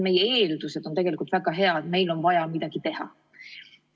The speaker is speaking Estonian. Meie eeldused on tegelikult väga head, aga ikkagi meil on vaja midagi teha.